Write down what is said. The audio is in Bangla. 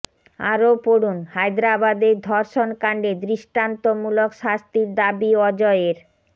আরও পড়ুন হায়দরাবাদের ধর্ষণ কাণ্ডে দৃষ্টান্তমূলক শাস্তির দাবী অজয়ের